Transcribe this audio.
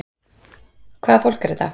Hvaða fólk er þetta?